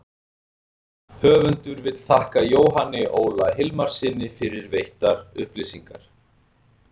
Höfundur vill þakka Jóhanni Óla Hilmarssyni fyrir veittar upplýsingar.